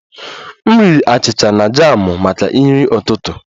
M riri achịcha na jamụ maka nri ụtụtụ